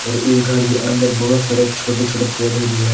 और इस घर के अंदर बहोत सारे छोटे छोटे पौधे भी है।